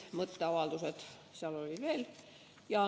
Mõtteavaldusi oli veel.